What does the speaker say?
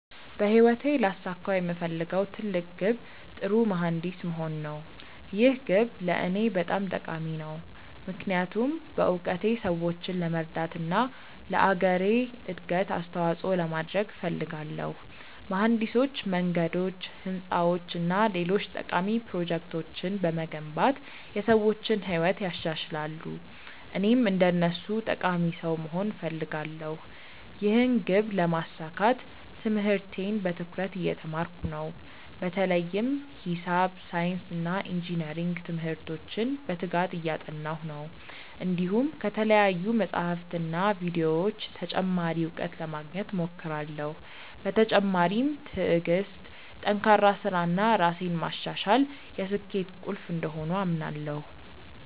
በህይወቴ ላሳካው የምፈልገው ትልቅ ግብ ጥሩ መሀንዲስ መሆን ነው። ይህ ግብ ለእኔ በጣም ጠቃሚ ነው፣ ምክንያቱም በእውቀቴ ሰዎችን ለመርዳት እና ለአገሬ እድገት አስተዋፅኦ ለማድረግ እፈልጋለሁ። መሀንዲሶች መንገዶች፣ ህንፃዎች እና ሌሎች ጠቃሚ ፕሮጀክቶችን በመገንባት የሰዎችን ህይወት ያሻሽላሉ፣ እኔም እንደነሱ ጠቃሚ ሰው መሆን እፈልጋለሁ። ይህን ግብ ለማሳካት ትምህርቴን በትኩረት እየተማርኩ ነው፣ በተለይም ሂሳብ፣ ሳይንስ እና ኢንጅነሪንግ ትምህርቶችን በትጋት እያጠናሁ ነው። እንዲሁም ከተለያዩ መጻሕፍትና ቪዲዮዎች ተጨማሪ እውቀት ለማግኘት እሞክራለሁ። በተጨማሪም ትዕግሥት፣ ጠንካራ ሥራ እና ራሴን ማሻሻል የስኬቴ ቁልፍ እንደሆኑ አምናለሁ።